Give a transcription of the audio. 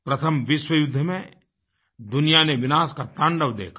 प्रथम विश्व युद्ध में दुनिया ने विनाश का तांडव देखा